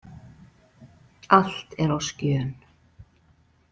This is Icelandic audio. Allt er á skjön.